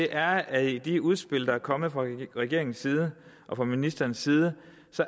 er at i de udspil der er kommet fra regeringens side og fra ministerens side